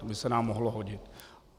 To by se nám mohlo hodit.